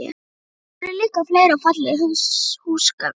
Þar voru líka fleiri og fallegri húsgögn.